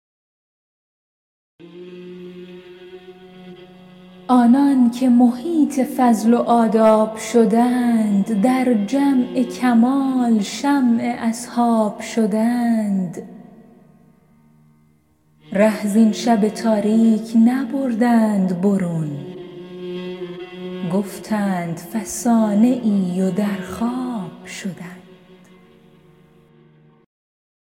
آنان که محیط فضل و آداب شدند در جمع کمال شمع اصحاب شدند ره زین شب تاریک نبردند برون گفتند فسانه ای و در خواب شدند